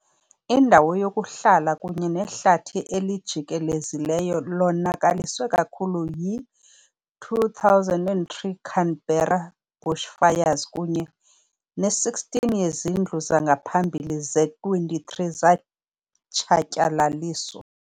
Indawo yokuhlala kunye nehlathi elijikelezileyo lonakaliswe kakhulu yi- 2003 Canberra bushfires kunye ne-16 yezindlu zangaphambili ze-23 zatshatyalaliswa.